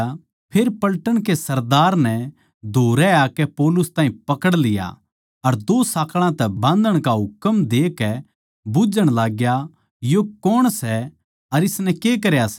फेर पलटन के सरदार नै धोरै आकै पौलुस ताहीं पकड़ लिया अर दो साँकळां तै बाँधण का हुकम देकै बुझ्झण लाग्या यो कौण सै अर इसनै के करया सै